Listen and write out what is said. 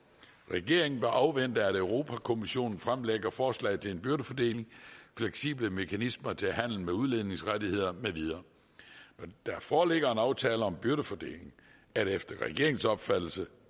regeringen bør afvente at europa kommissionen fremlægger forslag til en byrdefordeling fleksible mekanismer til handel med udledningsrettigheder med videre når der foreligger en aftale om byrdefordelingen er det efter regeringens opfattelse